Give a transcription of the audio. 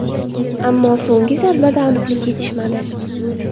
Ammo so‘nggi zarbada aniqlik yetishmadi.